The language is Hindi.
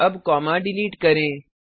अब कॉमा डिलीट करें